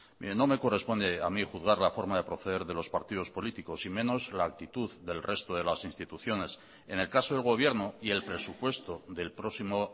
no me corresponde a mí juzgar la forma de proceder de los partidos políticos y menos la actitud del resto de las instituciones en el caso del gobierno y el presupuesto del próximo